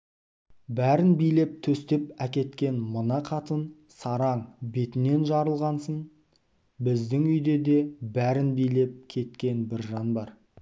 бәрін билеп-төстеп әкеткен мына қатын сараң бетінен жарылғасын біздің үйде де бәрін билеп кеткен бір жан бар